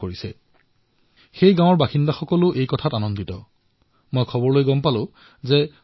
এই পৰিপ্ৰেক্ষিতত মই পশ্চিমবংগৰ সৈতে জড়িত এক সুন্দৰ পদক্ষেপৰ বিষয়ে জানিবলৈ পালো যাক মই আপোনালোকৰ সৈতে বিনিময় কৰিবলৈ বিচাৰিম